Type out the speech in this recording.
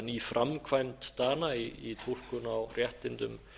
ný framkvæmd dana í túlkun á réttindum